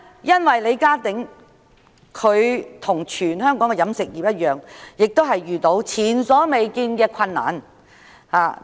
因為李家鼎的食肆與全香港的飲食業無異，均遇上前所未見的困難。